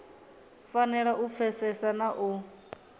fanela u pfesesa na u